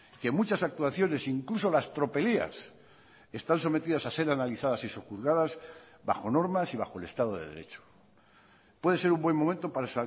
que muchas actuaciones incluso las tropelías están sometidas a ser analizadas y sojuzgadas bajo normas y bajo el estado de derecho puede ser un buen momento para